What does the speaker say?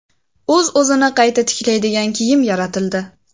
O‘z-o‘zini qayta tiklaydigan kiyim yaratildi.